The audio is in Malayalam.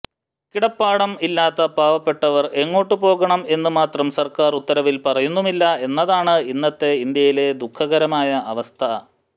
കിടപ്പാടം ഇല്ലാത്ത പാവപ്പെട്ടവർ എങ്ങോട്ടു പോകണം എന്ന് മാത്രം സർക്കാർ ഉത്തരവിൽ പറയുന്നുമില്ല എന്നതാണ് ഇന്നത്തെ ഇന്ത്യയിലെ ദുഖകരമായ അവസ്ഥ